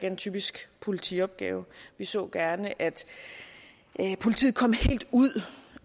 en typisk politiopgave vi så gerne at politiet kom helt ud